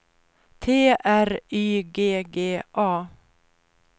T R Y G G A